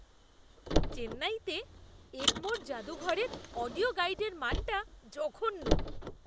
চেন্নাইতে এগমোর জাদুঘরের অডিও গাইডের মানটা জঘন্য।